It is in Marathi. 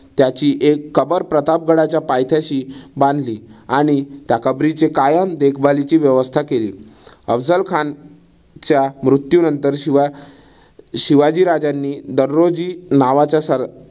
त्याची एक कबर प्रतापगडाच्या पायथ्याशी बांधली. आणि त्या कबरीची कायम देखभालीची व्यवस्था केली. अफझल खानच्या मृत्यूनंतर शिवा शिवाजी राजांनी दगडोजी नावाच्या सर